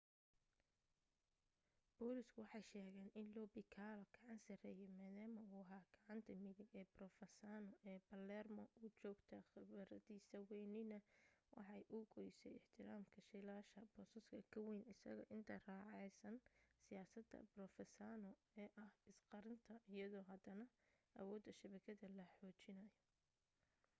booliisku waxay sheegeen in lo piccolo gacan sarreeyay maadaama uu ahaa gacanta midig ee provenzano ee palermo u joogta khibradiisa waynina waxay u goysay ixtiraamka jiilasha boosaska ka wayn isaga intay raacayaan siyaasadda provenzano ee ah is qarinta iyadoo haddana awoodda shabakadada la xoojinayo